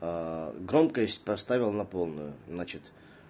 громкость поставил на полную значит